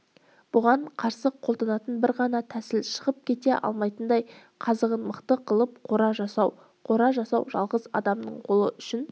бұған қарсы қолданатын бір ғана тәсіл шығып кете алмайтындай қазығын мықты қылып қора жасау қора жасау жалғыз адамның қолы үшін